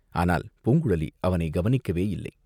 ஆனால் பூங்குழலி அவனைக் கவனிக்கவேயில்லை.